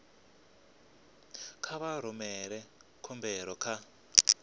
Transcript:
kha vha rumele khumbelo kha